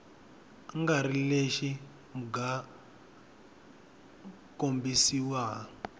nga ri lexi mga kombisiwa